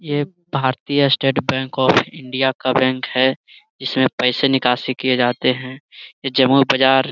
ये भारतीय state bank of India का बैंक है जिसमे पैसे निकासी किए जाते है ये जमा बाजार --